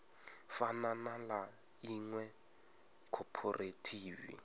fana na ḽa iṅwe khophorethivi